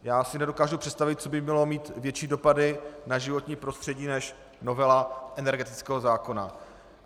Já si nedokážu představit, co by mělo mít větší dopady na životní prostředí než novela energetického zákona.